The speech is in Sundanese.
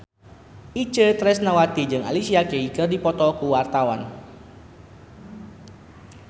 Itje Tresnawati jeung Alicia Keys keur dipoto ku wartawan